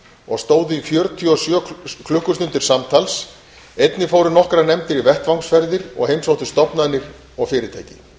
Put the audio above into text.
og stóðu í fjörutíu og sjö klukkustundir samtals einnig fóru nokkrar nefndir í vettvangsferðir og heimsóttu stofnanir og fyrirtæki